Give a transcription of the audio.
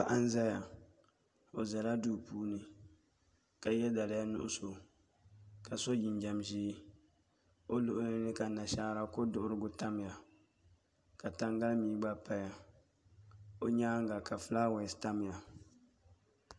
Paɣa n ʒɛya o ʒɛla duu puuni ka yɛ daliya nuɣso ka so jinjɛm ʒiɛ o luɣuli ni ka nashaara ko duɣurigu tamya ka tangali mii gba paya o nyaanga ka fulaawaasi tamya